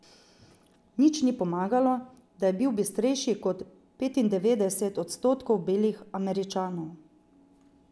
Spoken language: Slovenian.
Nič ni pomagalo, da je bil bistrejši kot petindevetdeset odstotkov belih Američanov.